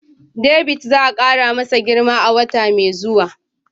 David za a kara masa girma a wata mai zuwa